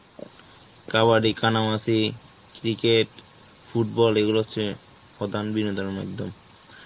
কাবাডি, কানামাছি, cricket, football এগুলো হচ্ছে প্রধান বিনোদনের মাইধ্যম.